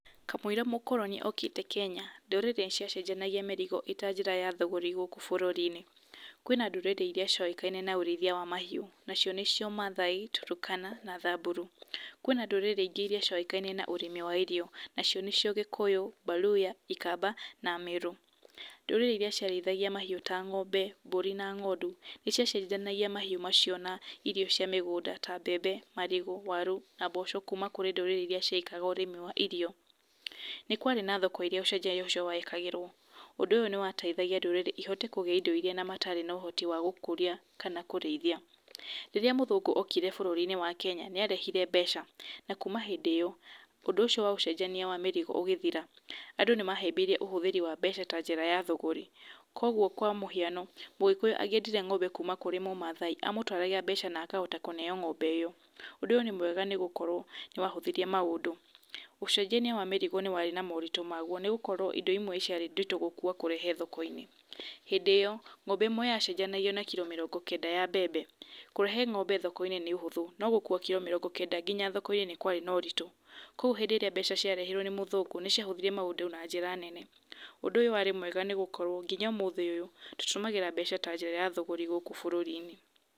Kamũira mũkoroni okĩte Kenya, ndũrĩrĩ nĩ cia cenjanagia mĩrigo ĩĩ ta njĩra ya thũgũri gũkũ bũrũri-inĩ. Kwĩna ndũrĩrĩ iria cioĩkaine na ũrĩithia wa mahiũ, nacio nĩcio Maathai, Turkana na thamburu. Kwĩna ndũrĩrĩ ingĩ irĩa cioĩkaine na ũrĩmi wa irio, nacio nĩcio Gĩkũyũ, baLuhya, iKamba na Meru. Ndũrĩrĩ irĩa ciarĩithagia mahiũ ta ng'ombe, mbũri na ng'ondu, nĩ cia cenjanagia mahiũ macio na irio cia mũgũnda ta mbembe, marigũ, waru na mboco kuma kũrĩ ndũrĩrĩ irĩa ciekaga ũrĩmi wa irio. Nĩ kwarĩ na thoko irĩa ũcenjia ũcio wekagĩrwo. Ũndũ ũyũ nĩ wateithagia ndũrĩrĩ ihote kũgĩa indo irĩa ona matarĩ na ũhoti wa gũkũria kana kũrĩithia. Rĩrĩa mũthũngũ okire bũrũri-inĩ wa Kenya nĩ arehire mbeca na kuma hĩndĩ ĩyo, ũndũ ũcio wa ũcenjania wa mĩrigo ũgĩthira. Andũ nĩ mahĩmbĩirie ũhũthĩri wa mbeca ta njĩra ya thũgũri. Koguo kwa mũhiano, mũgĩkũyũ angĩendire ng'ombe kuuma kũrĩ mũmaathai amũtwaragĩra mbeca na akahota kũneo ng'ombe ĩo. Ũndũ ũyũ nĩ mwega nĩ gũkorwo nĩ wahũthirie maũndũ. Ũcenjia-inĩ wa mĩrigo nĩ warĩ na moritũ magwo, nĩ gũkorwo indo imwe nĩ ciarĩ nditũ gũkua kũrehe thoko-inĩ. Hĩndĩ ĩyo ng'ombe ĩmwe yacenjanagio na kiro mĩrongo kenda ya mbembe. Kũrehe ng'ombe thoko-inĩ nĩ ũhũthũ no gũkua kiro mĩrongo kenda nginya thoko-inĩ nĩ kwarĩ na ũritũ. Koguo hĩndĩ ĩrĩa mbeca ciarehirwo nĩ mũthũngũ nĩ ciahũthirie maũndũ na njĩra nene. Ũndũ ũyũ nĩ warĩ mwega nĩ gũkorwo nginya ũmũthĩ ũyũ, tũtũmagĩra mbeca ta njĩra ya thũgũri nginya ũmũthĩ ũyũ.